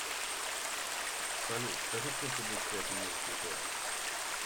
салют скажи сколько будет пять умножить на пять